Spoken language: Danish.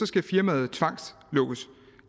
skal firmaet tvangslukkes